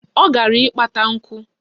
Ọ gara ịkpata nkụ